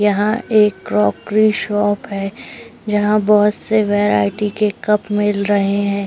यहां एक coffee shop है। यहां बहुत से वैरायटी के कप मिल रहे हैं।